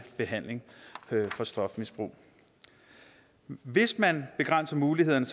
behandling for stofmisbrug hvis man begrænser mulighederne